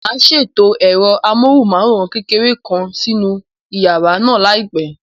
Màá ṣètò ẹ̀rọ amóhùnmáwòrán kékeré kan nínú yàrá náà láìpẹ́.